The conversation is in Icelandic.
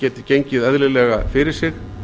geti gengið eðlilega fyrir sig